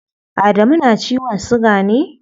Adamu na da ciwon siga ne?